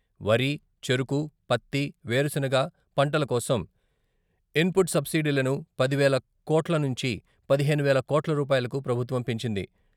వరి, చెరకు, పత్తి, వేరుశనగ పంటల కోసం ఇన్పుట్ సబ్సిడీలను పది వేల కోట్ల నుంచి పదిహేను వేల కోట్ల రూపాయలకు ప్రభుత్వం పెంచింది.